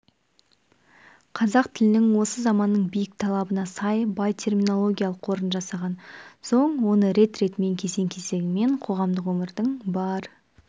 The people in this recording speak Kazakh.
қазақ тілінің осы заманның биік талабына сай бай терминологиялық қорын жасаған соң оны рет-ретімен кезең-кезеңімен қоғамдық өмірдің бар